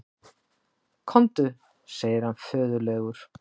Komdu, segir hann föðurlegur.